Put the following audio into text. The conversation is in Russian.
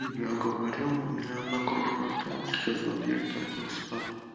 я говорю у меня одна кружка осталось сейчас допью и пойду спать